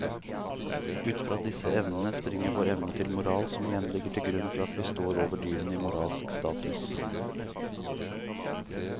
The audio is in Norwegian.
Ut fra disse evnene springer vår evne til moral som igjen ligger til grunn for at vi står over dyrene i moralsk status.